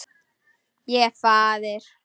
Ég er faðir.